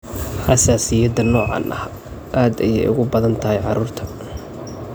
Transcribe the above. Xasaasiyadda noocaan ah aad ayey ugu badan tahay carruurta.